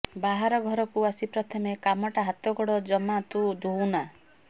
ବାହାରୁ ଘରକୁ ଆସି ପ୍ରଥମ କାମଟା ହାତଗୋଡ଼ ଜମା ତୁ ଧୋଉନା